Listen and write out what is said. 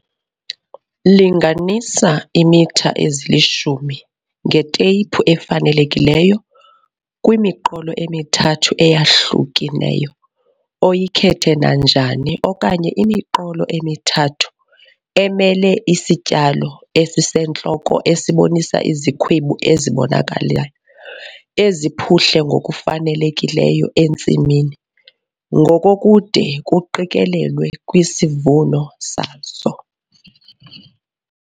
Linganisa iimitha ezilishumi ngeteyiphu efanelekileyo kwimiqolo emithathu eyahlukeneyo oyikhethe nanjani okanye imiqolo emithathu emele isityalo esisentloko esibonisa izikhwebu ezibonakalayo, eziphuhle ngokufanelekileyo entsimini ngokokude kuqikelelwe kwisivuno sazo.